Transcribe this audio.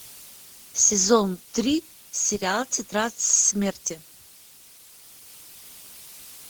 сезон три сериал тетрадь смерти